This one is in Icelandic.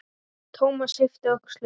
Thomas yppti öxlum.